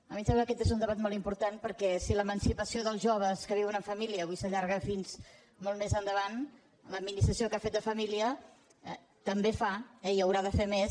a mi em sembla que aquest és un debat molt important perquè si l’emancipació dels joves que viuen en família avui s’allarga fins molt més endavant l’administració que ha fet de família també fa i haurà de fer més